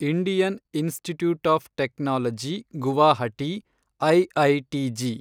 Indian institute of technology Guwahati, IITG